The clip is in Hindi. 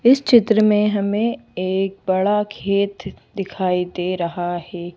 इस चित्र में हमें एक बड़ा खेत दिखाई दे रहा है।